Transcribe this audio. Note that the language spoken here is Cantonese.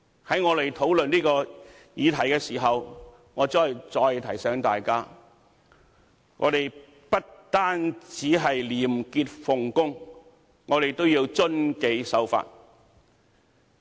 在我們討論這項議題時，我再提醒大家，我們不單要廉潔奉公，亦要遵紀守法。